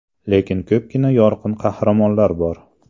Lekin ko‘pgina yorqin qahramonlar bor.